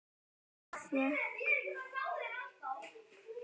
Ég fékk